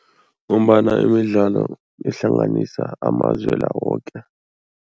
Ngombana imidlalo ihlanganisa amazwe la woke.